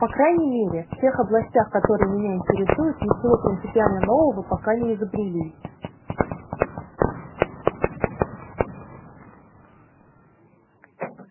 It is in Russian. по крайней мере в тех областях которые меня интересуют ничего принципиально нового пока не изобрели